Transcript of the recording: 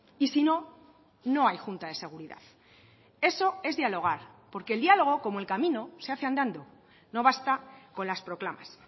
y si no no hay junta de seguridad eso es dialogar porque el diálogo como el camino se hace andando no basta con las proclamas